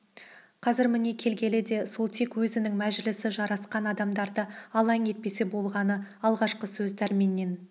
қазір міне келгені де сол тек өзінің мәжілісі жарасқан адамдарды алаң етпесе болғаны алғашқы сөз дәрменнен